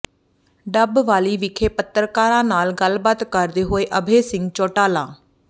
ਡੱਬਵਾਲੀ ਵਿਖੇ ਪੱਤਰਕਾਰਾਂ ਨਾਲ ਗੱਲਬਾਤ ਕਰਦੇ ਹੋਏ ਅਭੈ ਸਿੰਘ ਚੌਟਾਲਾ